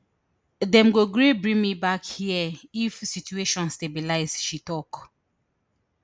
dem go gree bring me back here if situation stabilise she tok